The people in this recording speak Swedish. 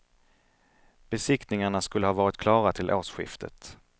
Besiktningarna skulle ha varit klara till årsskiftet.